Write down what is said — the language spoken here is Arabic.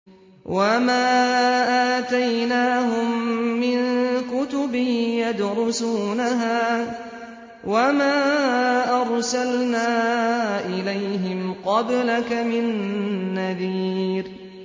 وَمَا آتَيْنَاهُم مِّن كُتُبٍ يَدْرُسُونَهَا ۖ وَمَا أَرْسَلْنَا إِلَيْهِمْ قَبْلَكَ مِن نَّذِيرٍ